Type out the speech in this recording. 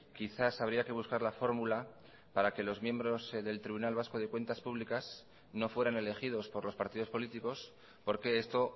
quizás habría que buscar la fórmula para que los miembros del tribunal vasco de cuentas públicas no fueran elegidos por los partidos políticos porque esto